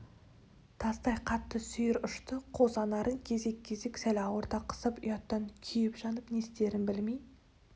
тастай қатты сүйір ұшты қос анарын кезек-кезек сәл ауырта қысып ұяттан күйіп-жанып не істерін білмей